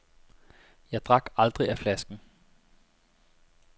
Jeg drak aldrig af flasken.